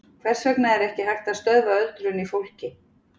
hvers vegna er ekki hægt að stöðva öldrun í fólki